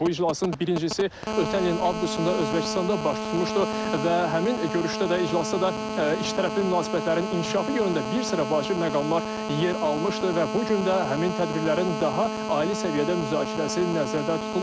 Bu iclasın birincisi ötən ilin avqustunda Özbəkistanda baş tutmuşdu və həmin görüşdə də iclasda da ikitərəfli münasibətlərin inkişafı yönündə bir sıra vacib məqamlar yer almışdı və bu gün də həmin tədbirlərin daha ali səviyyədə müzakirəsi nəzərdə tutulub.